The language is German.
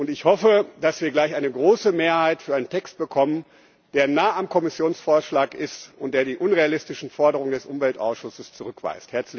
Ich hoffe, dass wir gleich eine große Mehrheit für einen Text bekommen, der nahe am Kommissionsvorschlag ist und der die unrealistischen Forderungen des Umweltausschusses zurückweist.